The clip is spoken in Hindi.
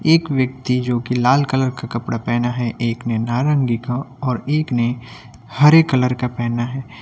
एक व्यक्ति जो कि लाल कलर का कपड़ा पहना है एक ने नारंगी का और एक ने हरे कलर का पहना है।